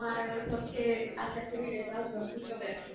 তোমার হচ্ছে আশা করি result জলদি চলে আসুক